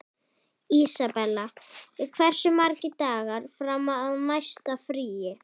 Isabella, hversu margir dagar fram að næsta fríi?